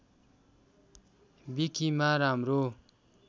विकिमा राम्रो